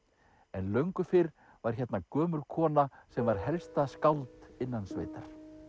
en löngu fyrr var hérna gömul kona sem var helsta skáld innan sveitar